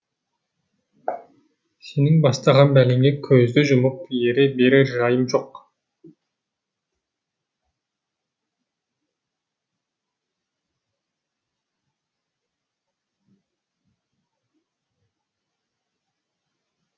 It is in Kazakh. сенің бастаған бәлеңе көзді жұмып ере берер жайым жоқ